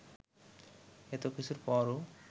এতকিছুর পরও